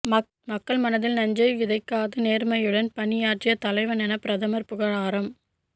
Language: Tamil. மக்கள் மனதில் நஞ்சை விதைக்காது நேர்மையுடன் பணியாற்றிய தலைவரென பிரதமர் புகழாரம்